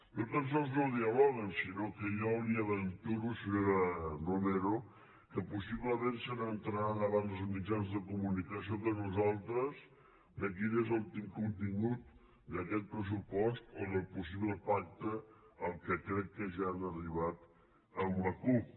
no tan sols no dialoguen sinó que jo li aventuro senyora romero que possiblement s’assabentaran abans els mitjans de comunicació que nosaltres de quin és el contingut d’aquest pressupost o del possible pacte a què crec que ja han arribat amb la cup